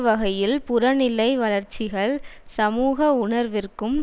வகையில் புறநிலை வளர்ச்சிகள் சமூக உணர்விற்கும்